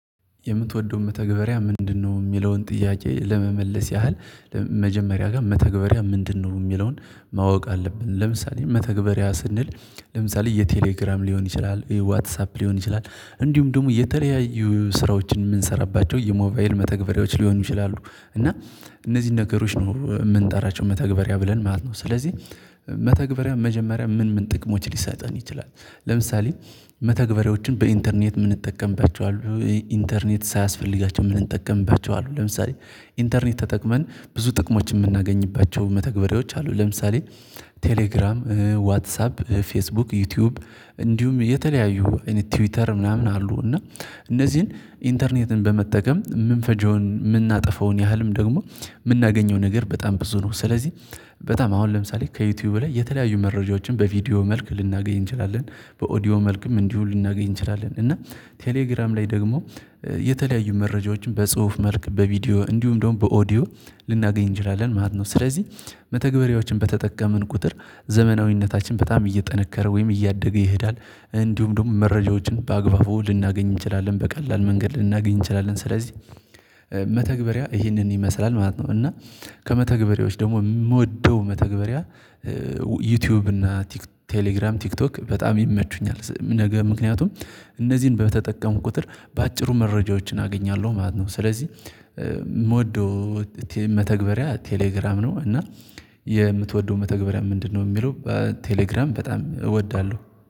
የምትወደውን መተግበሪያ ምንድነው? የሚለውን ጥያቄ ለመመለስ ያህል መጀመሪያ ጋር መተግበሪያ ምንድነው የሚለውን ማወቅ አለብን። ለምሳሌ መተግበሪያ ስንል ለምሳሌ የቴሌግራም ሊሆን ይችላል ዋትሳፕ ሊሆን ይችላል እንዲሁም ደግሞ የተለያየ ስራዎችን የምንሰራባቸው የሞባይል መተግበሪያዎች ሊሆኑ ይችላሉ። እና እነዚህን ነገሮች ነው የምንጠራቸው መተግበሪያ ብለን ማለት ነው። ስለዚህ መተግበሪያ መጀመሪያ ምን ምን ጥቅሞች ሊሰጠን ይችላል? ለምሳሌ መተግበሪያዎችን በኢንተርኔት የምንጠቀምባቸው አሉ ኢንተርኔት ሳያስፈልጋቸው የምንጠቀምባቸው አሉ። ለምሳሌ ኢንተርኔት ተጠቅመን ብዙ ጥቅሞች የምናገኝባቸው መተግበሪያዎች አሉ። ለምሳሌ ቴሌግራም ዋትሳፕ ፌስቡክ ዩቲዩብ እንዲሁም የተለያዩ እነ ትዊተር ምናምን አሉ። እና እነዚህን ኢንተርኔትን በመጠቀም የምንፈጀውን የምናጠፋውን ያህልም ደግሞ የምናገኘው ነገር በጣም ብዙ ነው። ስለዚህ በጣም አሁን ለምሳሌ ከዩቲዩብ ላይ የተለያዩ መረጃዎችን በቪዲዮ መልክ ልናገኝ እንችላለን። በኦዲዮ መልክም እንዲሁ ልናገኝ እንችላለን። እና ቴሌግራም ላይ ደግሞ የተለያዩ መረጃዎችን በጽሁፍ መልክ በቪዲዮ እንዲሁም ደግሞ በኦዲዮ ልናገኝ እንችላለን ማለት ነው። ስለዚህ መተግበሪያዎችን በተጠቀመን ቁጥር ዘመናዊነታችን በጣም እየጠነከረ ወይም እያደገ ይሄዳል እንዲሁም ደግሞ መረጃዎችን በአግባቡ ልናገኝ እንችላለን በቀላል መንገድ ልናገኝ እንችላለን። ስለዚህ መተግበሪያ ይህንን ይመስላል ማለት ነው። እና ከመተግበሪያዎች ደግሞ የምወደው መተግበሪያ። ዩቲዩብ እና ቴሌግራም ቲክቶክ በጣም ይመቹኛል። ነገ ምክንያቱም እነዚህን በተጠቀምኩ ቁጥር በአጭሩ መረጃዎችን አገኛለሁ ማለት ነው። ስለዚህ ምወደው መተግበሪያ ቴሌግራም ነው። እና የምትወደው መተግበሪያ ምንድነው? የሚለው ቴሌግራም በጣም እወዳለሁ